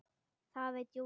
Það veit Júlía.